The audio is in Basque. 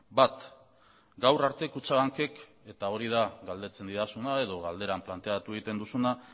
bat gaur arte kutxabankek eta hori da galdetzen didazuna edo galderan planteatu egiten duzuna